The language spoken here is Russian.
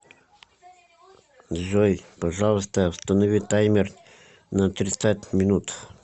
джой пожалуйста установи таймер на тридцать минут